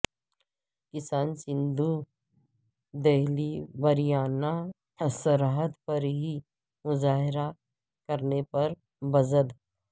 کسان سندھو دہلی ہریانہ سرحد پر ہی مظاہرہ کرنے پر بضد